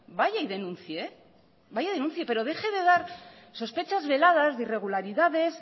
vaya y denuncie vaya y denuncie pero deje de dar sospechas veladas de irregularidades